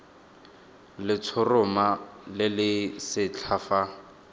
letshoroma le le setlha fa